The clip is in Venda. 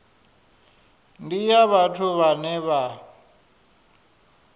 ndi ya vhathu vhane vha